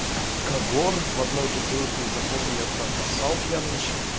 кагор в одной бутылке из охоты я туда поссал пьяный ещё